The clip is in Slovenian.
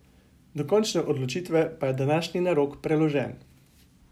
Do končne odločitve pa je današnji narok preložen.